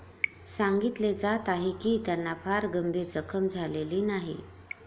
सांगितले जात आहे की त्यांना फार गंभीर जखम झालेली नाही.